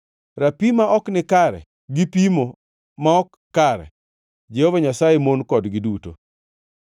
Rapim ma ok nikare gi pimo ma ok kare, Jehova Nyasaye mon kodgi duto.